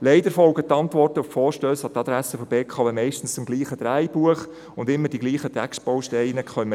Leider folgen die Antworten auf die Vorstösse an die Adresse der BKW meistens demselben Drehbuch, und wir können immer dieselben Textbausteine lesen: